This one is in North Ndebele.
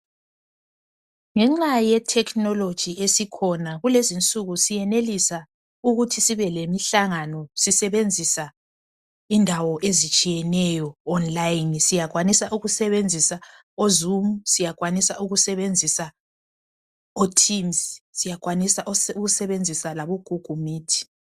Ngenxa ye technology esikhona kulezinsuku siyenelisa ukuthi sibe lemihlangano sisebenzisa indawo ezitshiyeneyo online .Siyakwanisa ukusebenzisa o zoom , siyakwanisa ukusebenzisa o tins ,siyakwanisa ukusebenzisa labo google meet